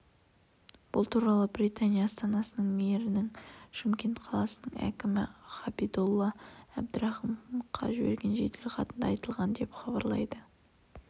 бұл туралы британия астанасының мэрінің шымкент қаласының әкімі ғабидолла әбдірахымовқа жіберген жеделхатында айтылған деп хабарлайды